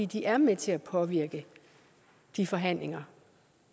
de er med til at påvirke de forhandlinger